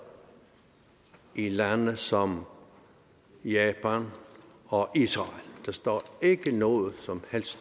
i lande som japan og israel der står ikke noget som helst